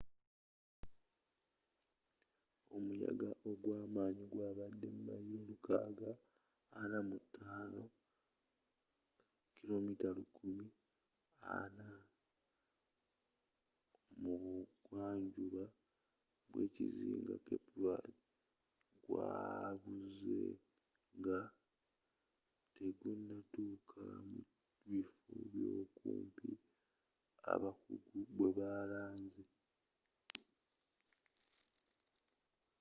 omuyagga ogwamanyi gwabadde mailo lukaaga ana mu tano 645 mayilo 1040 kmmu bugwanjuba bwekizinga cape verde gwabuzze nga tegunatukka mu bifo byokumpi abakuggu bwebalanze